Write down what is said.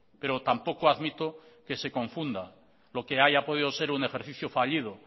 pero tampoco admito que se confunda lo que haya podido ser un ejercicio fallido